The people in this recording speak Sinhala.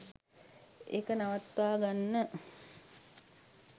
ඒක නවත්වා ගන්න